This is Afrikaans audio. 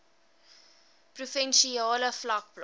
provinsiale vlak plaas